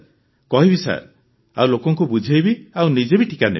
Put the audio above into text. କହିବି ସାର୍ ଆଉ ଲୋକଙ୍କୁ ବୁଝାଇବି ଆଉ ନିଜେ ବି ଟିକା ନେବି